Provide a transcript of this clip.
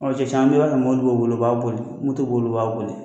Ɔ cɛ caman bɛ se ka don mɔbili dɔw kɔnɔn b'a boli, moto b'olu b'a boli.